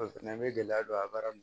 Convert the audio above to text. an bɛ gɛlɛya don a baara in na